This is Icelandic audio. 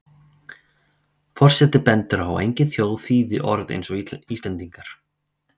Forseti bendir á að engin þjóð þýði orð eins og Íslendingar.